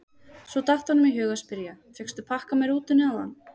Svo datt honum í hug að spyrja: fékkstu pakka með rútunni áðan?